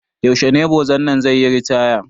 Yaushe ne boza nan zai yi ritaya?